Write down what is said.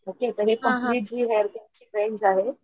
okay तर हि complete जी हेअर केर ची रेंज आहे,